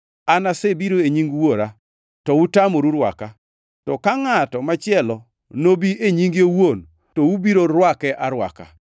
An asebiro e nying Wuora, to utamoru rwaka; to ka ngʼato machielo nobi e nyinge owuon to ubiro rwake arwaka.